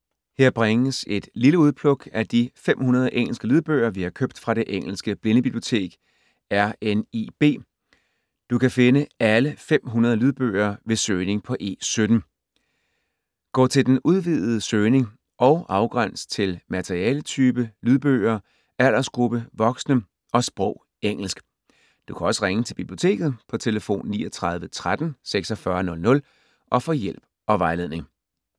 Her bringes et lille udpluk af de 500 engelske lydbøger, vi har købt fra det engelske blindebibliotek, RNIB. Du kan finde alle 500 lydbøger ved søgning på E17. Gå til den udvidede søgning og afgræns til materialetype lydbøger, aldersgruppe voksne og sprog engelsk. Du kan også ringe til Biblioteket på tlf. 39 13 46 00 og få hjælp og vejledning.